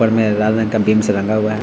ऊपर में लाल रंग का बीम से रंगा हुआ है।